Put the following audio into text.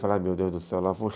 meu Deus do céu, lá vou eu